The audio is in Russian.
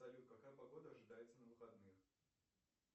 салют какая погода ожидается на выходных